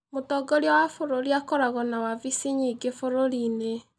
Mũtongoria wa bũrũri akoragwo na wabici nyingĩ bũrũriinĩ.